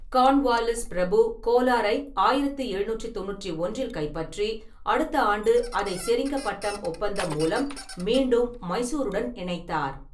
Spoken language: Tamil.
கார்ன்வால்லிஸ் பிரபு கோலாரை ஆயிரத்தி எழுநூற்றி தொண்ணூற்றி ஒன்றில் கைப்பற்றி, அடுத்த ஆண்டு அதை செரிங்கபட்டம் ஒப்பந்தம் மூலம் மீண்டும் மைசூருடன் இணைத்தார்.